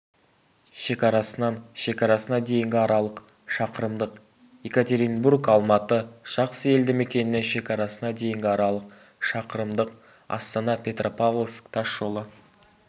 шекарасынан шекарасына дейінгі аралық шақырымдық екатеринбург-алматы жақсы елді мекенінен шекарасына дейінгі аралық шақырымдық астана-петропавловск тасжолы